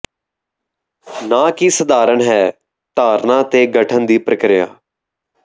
ਨਾ ਕਿ ਸਧਾਰਨ ਹੈ ਧਾਰਨਾ ਦੇ ਗਠਨ ਦੀ ਪ੍ਰਕਿਰਿਆ